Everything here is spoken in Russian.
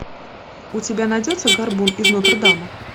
у тебя найдется горбун из нотр дама